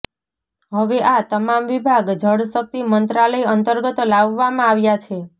હવે આ તમામ વિભાગ જળશક્તિ મંત્રાલય અંતર્ગત લાવવામાં આવ્યા છે